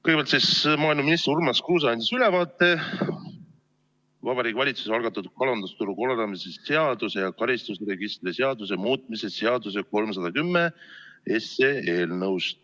Kõigepealt, maaeluminister Urmas Kruuse andis ülevaate Vabariigi Valitsuse algatatud kalandusturu korraldamise seaduse ja karistusregistri seaduse muutmise seaduse eelnõust 310.